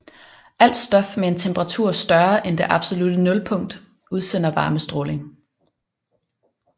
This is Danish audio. Alt stof med en temperatur større end det absolutte nulpunkt udsender varmestråling